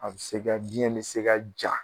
A bɛ se ka biɲɛ bɛ se ka ja